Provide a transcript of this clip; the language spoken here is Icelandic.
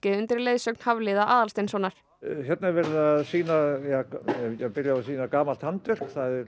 undir leiðsögn Hafliða Aðalsteinssonar hérna er verið að sýna gamalt handverk